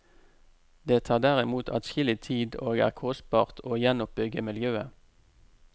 Det tar derimot adskillig tid og er kostbart å gjenoppbygge miljøet.